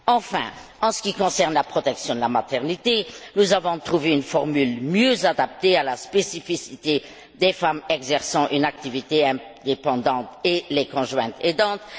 Enfin, en ce qui concerne la protection de la maternité, nous avons trouvé une formule mieux adaptée à la spécificité des femmes exerçant une activité indépendante et les conjointes aidantes.